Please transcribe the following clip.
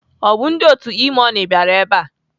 Ọ bụ ndị otu E-money bịara ebe a?